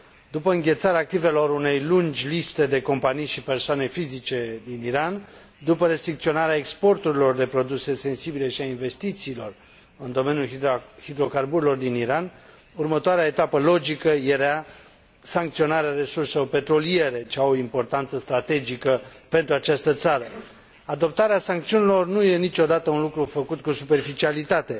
După înghețarea activelor unei lungi liste de companii și persoane fizice din Iran, după restricționarea exporturilor de produse sensibile și a investițiilor în domeniul hidrocarburilor din Iran, următoarea etapă logică era sancționarea resurselor petroliere, ce au o importanță strategică pentru această țară. Adoptarea sancțiunilor nu e niciodată un lucru făcut cu superficialitate.